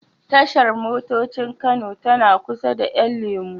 Tashar motocin Kano tana kusa da 'yan lemo.